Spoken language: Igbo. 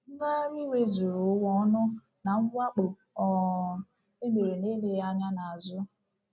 Ngagharị iwe Zuru Ụwa Ọnụ na Mwakpo um E Mere n’Eleghị Anya n’Azụ